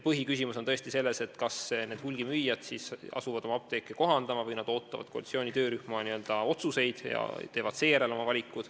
Põhiküsimus on tõesti selles, kas hulgimüüjad asuvad oma apteeke kohandama või nad ootavad ära koalitsiooni töörühma otsused ja teevad alles seejärel oma valiku.